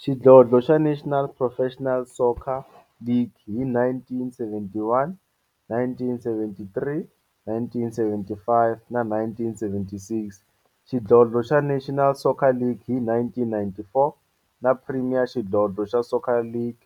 Xidlodlo xa National Professional Soccer League hi 1971, 1973, 1975 na 1976, xidlodlo xa National Soccer League hi 1994, na Premier Xidlodlo xa Soccer League